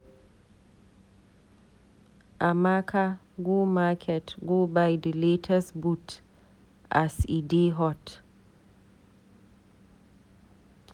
Amaka go market go buy di latest boot as e dey hot.